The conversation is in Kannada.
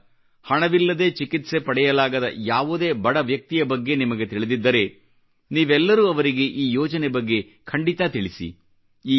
ಇಂಥ ಹಣವಿಲ್ಲದೆ ಚಿಕಿತ್ಸೆ ಪಡೆಯಲಾಗದ ಯಾವುದೇ ಬಡ ವ್ಯಕ್ತಿಯ ಬಗ್ಗೆ ನಿಮಗೆ ತಿಳಿದಿದ್ದರೆ ನೀವೆಲ್ಲರೂ ಅವರಿಗೆ ಈ ಯೋಜನೆ ಬಗ್ಗೆ ಖಂಡಿತ ತಿಳಿಸಿ